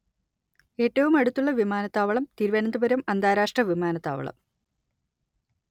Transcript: ഏറ്റവും അടുത്തുള്ള വിമാനത്താവളം തിരുവനന്തപുരം അന്താരാഷ്ട്ര വിമാനത്താവളം